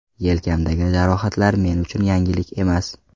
Yelkamdagi jarohatlar men uchun yangilik emas.